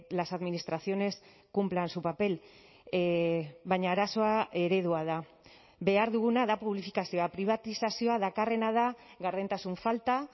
las administraciones cumplan su papel baina arazoa eredua da behar duguna da publifikazioa pribatizazioa dakarrena da gardentasun falta